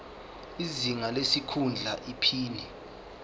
izinga lesikhundla iphini